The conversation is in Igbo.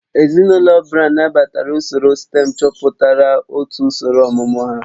Ezinụlọ Brown nabatara usoro stém chọpụtara otu usoro ọmụmụ ha